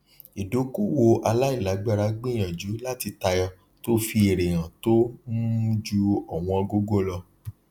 ìdókòwò aláìlágbára gbìyànjú láti tayọ tó fi èrè hàn tó um ju ọwọn gogo lọ